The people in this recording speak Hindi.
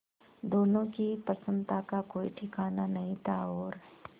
दोनों की प्रसन्नता का कोई ठिकाना नहीं था और